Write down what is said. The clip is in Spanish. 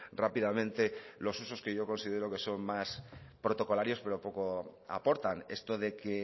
rápidamente los usos que yo considero que son más protocolarios pero poco aportan esto de que